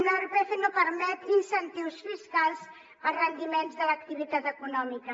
l’irpf no permet incentius fiscals a rendiments de l’activitat econòmica